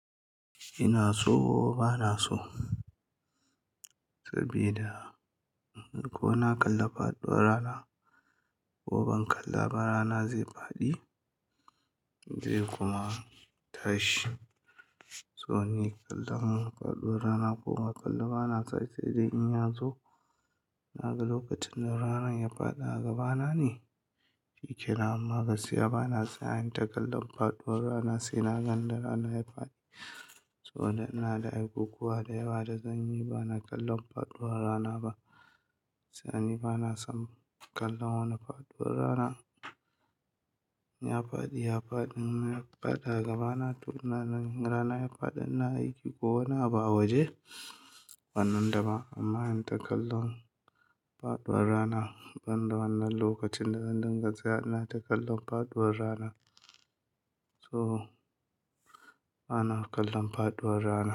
Ina so bana so sabida ko na kalla faɗuwar rana ko ban kalla ba rana zai faɗi zai kuma tashi. So ni kallan faɗuwar rana ko ba kalla bana sa sai dai in ya zo. Na ga lokacin da rana ya faɗa a gaba na ne, shikenan amma gaskiya bana saya inyi ta kallon faɗuwar rana sai naga da ranar ya faɗi. So na da aikukuwa da yawa da zanyi bana kallon faɗuwar rana ba. Sani bana son kallon faɗuwar rana, in ya faɗi ya faɗi. In ya faɗi a gaba na to na gan rana ya faɗi. Ina aiki ko wani abu a waje, wanan daba. Amma in ta kallon faɗuwar rana ban da wannan lokacin da zan dinga sayawa ina ta kallon faɗuwar rana. So bana kallon faɗuwar rana.